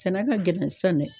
Sɛnɛ ka gɛlɛn sisan dɛ